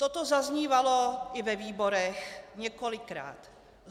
Toto zaznívalo i ve výborech několikrát.